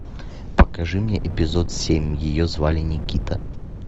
покажи мне эпизод семь ее звали никита